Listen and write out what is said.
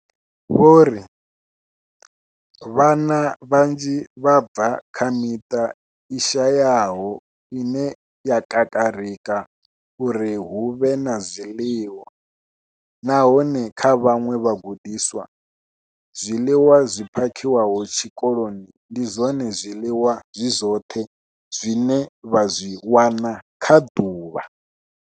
Vho ri vhana vhanzhi vha bva kha miṱa i shayaho ine ya kakarika uri hu vhe na zwiḽiwa, nahone kha vhaṅwe vhagudiswa, zwiḽiwa zwi phakhiwaho tshikoloni ndi zwone zwiḽiwa zwi zwoṱhe zwine vha zwi wana kha ḓuvha.